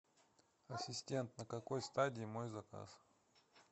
ассистент на какой стадии мой заказ